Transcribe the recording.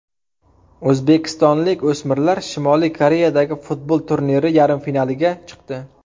O‘zbekistonlik o‘smirlar Shimoliy Koreyadagi futbol turniri yarim finaliga chiqdi.